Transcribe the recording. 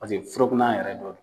Paseke furakuna yɛrɛ dɔ